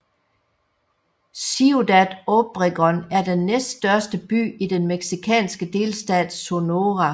Ciudad Obregón er den næststørste by i den mexikanske delstat Sonora